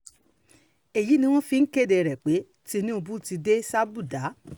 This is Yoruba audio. èyí ni wọ́n fi ń kéde um pé tinubu ti dé um sàbúdà